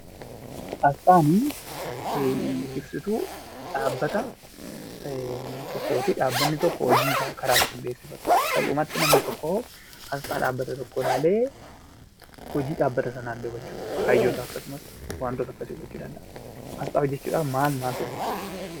Asxaan ibsituu dhaabbata tokkooti. Dhaabbatni tokko hojiisaa karaa ittiin beeksifatu, salphumatti namni tokko asxaa dhaabbata tokkoo ilaalee, hojii dhaabbata sanaallee hubachuu danda'a, kaayyoosaa akkasumas waantota akkasii hubachuu danda'a. Asxaa hojjechuudhaaf maal maaltu barbaachisa?